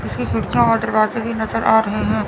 इसकी खिड़कियां और दरवाजे भी नजर आ रहे है।